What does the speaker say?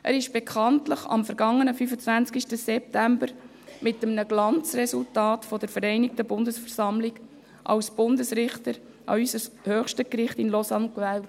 Er wurde bekanntlich am vergangenen 25. September mit einem Glanzresultat von der Vereinigten Bundesversammlung als Bundesrichter an unser höchstes Gericht in Lausanne gewählt.